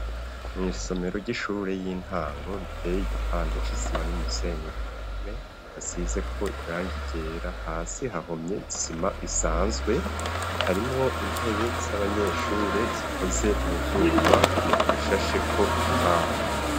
Mw'isomero ry'ishure y'intango riteye igipande c'isima n'umusenyi ku mpome hasizeko irangi ryera hasi hahomye isima isanzwe harimwo intebe z'abanyeshure zikoze mu vyuma ishasheko imbaho.